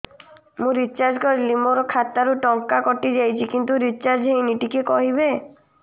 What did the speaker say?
ମୁ ରିଚାର୍ଜ କରିଲି ମୋର ଖାତା ରୁ ଟଙ୍କା କଟି ଯାଇଛି କିନ୍ତୁ ରିଚାର୍ଜ ହେଇନି ଟିକେ କହିବେ